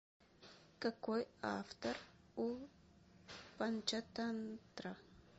какой автор у панчатантра